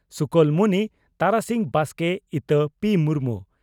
ᱥᱩᱠᱳᱞᱢᱩᱱᱤ (ᱛᱟᱨᱟᱥᱤᱧ ᱵᱟᱥᱠᱮ) ᱤᱛᱟᱹ (ᱯᱤᱹ ᱢᱩᱨᱢᱩ)